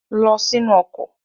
Lọ sínú ọkọ̀!